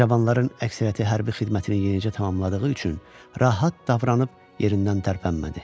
Cavanların əksəriyyəti hərbi xidmətini yenicə tamamladığı üçün rahat davranıb yerindən tərpənmədi.